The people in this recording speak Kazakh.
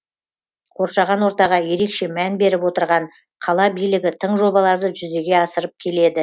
қоршаған ортаға ерекше мән беріп отырған қала билігі тың жобаларды жүзеге асырып келеді